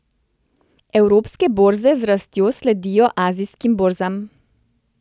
Evropske borze z rastjo sledijo azijskim borzam.